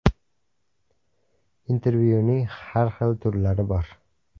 Intervyuning har xil turlari bor.